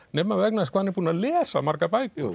nema vegna þess hvað hann er búinn að lesa margar bækur